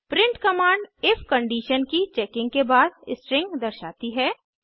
print command if condition की checking के बाद स्ट्रिंग दर्शाती है